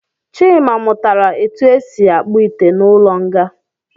Chima mụtara etu esi akpụ ite n’ụlọnga